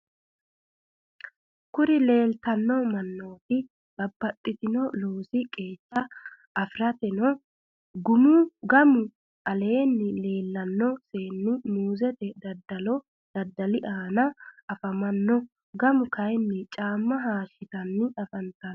kuri leelitanno mannoti babbaxino loosi qeechira afantanno. gamu aleenni leelanno seenni muuzete dadali aana afamanno. gamu kayinni caamma hayishitanni afantanno.